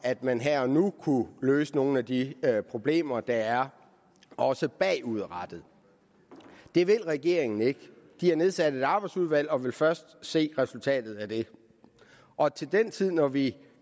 at man her og nu kunne løse nogle af de problemer der er også bagudrettet det vil regeringen ikke de har nedsat et arbejdsudvalg og vil først se resultatet af det og til den tid når vi